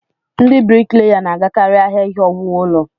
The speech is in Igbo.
Ndị brikleya na-agakarị ahịa ihe owuwu ụlọ.